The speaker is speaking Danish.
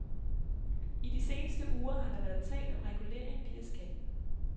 I de seneste uger har der været talt om regulering via skatten.